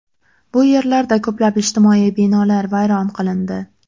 Bu yerlarda ko‘plab ijtimoiy binolar vayron qilindi.